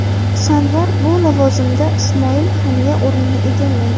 Sanvar bu lavozimda Ismoil Haniya o‘rnini egallaydi.